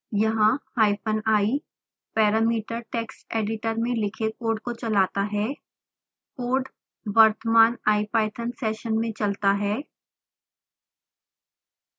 यहाँ hyphen i parameter text editor में लिखे कोड को चलाता है